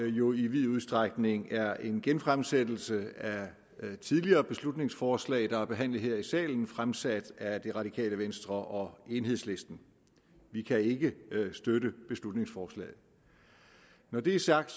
jo i vid udstrækning er en genfremsættelse af tidligere beslutningsforslag der er behandlet her i salen fremsat af det radikale venstre og enhedslisten vi kan ikke støtte beslutningsforslaget når det er sagt